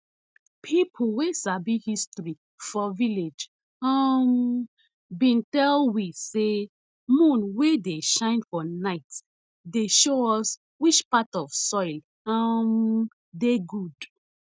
people wey sabi history for village um bin tell we sey moon wey dey shine for night dey show us which part of soil um dey good